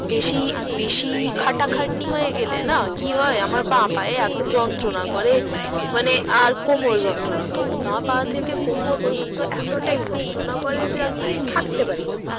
বেশি বেশি খাটা খাটনি হয়ে গেলে না কি হয় আমার বাঁ পায়ে এত যন্ত্রনা করে মানে আর কোমরে যন্ত্রনা করে বাঁ পা থেকে কোমর পর্যন্ত এতটাই যন্ত্রনা করে যে আমি থাকতে পারি না